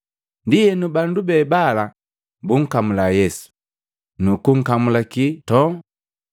Ndienu, bandu be bala bunkamula Yesu, nukunkamulaki nntoo.